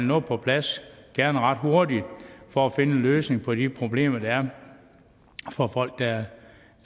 noget på plads og gerne ret hurtigt for at finde en løsning på de problemer der er for folk der